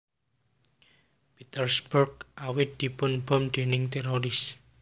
Petersburg awit dipun bom déning téroris